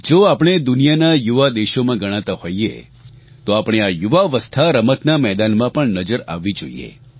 જો આપણે દુનિયાના યુવા દેશોમાં ગણાતા હોઇએ તો આપણી આ યુવાવસ્થા રમતના મેદાનમાં પણ નજર આવવી જોઇએ